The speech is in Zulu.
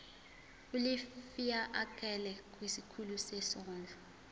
ulifiakela kwisikulu sezondlo